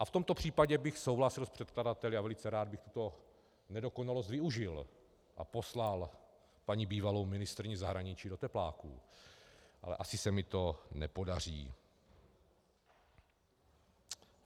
A v tomto případě bych souhlasil s předkladateli a velice rád bych tuto nedokonalost využil a poslal paní bývalou ministryni zahraničí do tepláků, ale asi se mi to nepodaří.